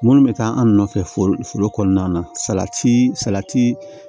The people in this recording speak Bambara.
Minnu bɛ taa an nɔfɛ foro foro kɔnɔna na salati salati